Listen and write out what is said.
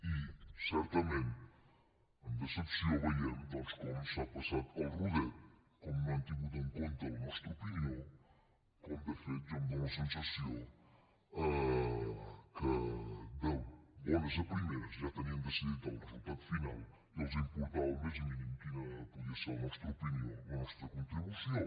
i certament amb decepció veiem doncs com s’ha passat el rodet com no han tingut en compte la nostra opinió com de fet jo tinc la sensació que d’entrada ja tenien decidit el resultat final i no els importava el més mínim quina podia ser la nostra opinió la nostra contribució